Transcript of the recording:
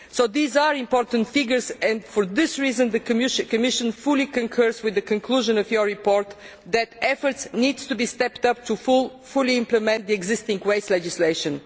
These are important figures, and for this reason the Commission fully concurs with the conclusion of the report that effort needs to be stepped up to fully implement existing waste legislation.